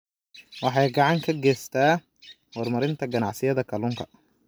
Waxay gacan ka geystaan ??horumarinta ganacsiyada kalluunka.